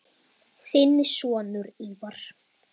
Þinn sonur, Ívar.